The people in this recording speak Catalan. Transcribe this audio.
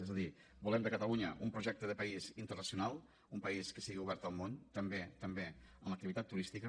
és a dir volem per a catalunya un projecte de país internacional un país que sigui obert al món també també en l’activitat turística